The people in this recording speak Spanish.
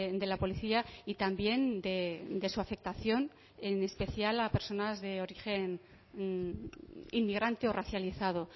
de la policía y también de su afectación en especial a personas de origen inmigrante o racializado